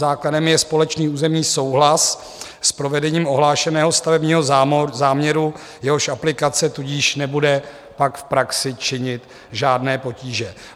Základem je společný územní souhlas s provedením ohlášeného stavebního záměru, jehož aplikace tudíž nebude pak v praxi činit žádné potíže.